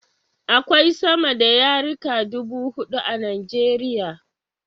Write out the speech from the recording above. Akwai sama da yarika dubu huɗu a Nijeriya